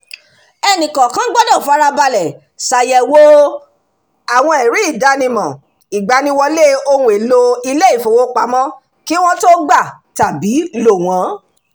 ẹnìkọ̀ọ̀kan gbọdọ̀ farabalẹ̀ ṣàyẹ̀wò àwọn ẹ̀rí-ìdánimọ̀ ìgbaniwọlé ohun-èlò ilé ìfowópamọ́ kí wọ́n tó gbà tàbí lò wọ́n